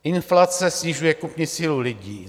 Inflace snižuje kupní sílu lidí.